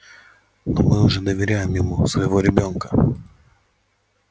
но мы же доверяем ему своего ребёнка